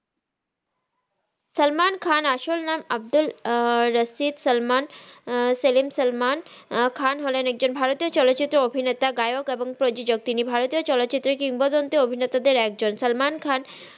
সাল্মান খান আসল নাম আব্দুল রাসিম সেলিম সাল্মান কাহ্ন হলেন একজন ভারতিও চলত্রের অভিনেতা নায়াক এবং প্রজজক তিনি ভারতিও চলচিত্রের কিংবদন্তি অভিনেতা দের একজন